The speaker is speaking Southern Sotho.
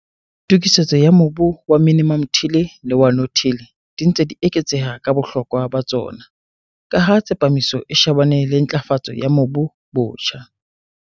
Tokisetso ya mobu wa minimum till le wa no-till di ntse di eketseha ka bohlokwa ba tsona - ka ha tsepamiso e shebane le ntlafatso ya mobu botjha.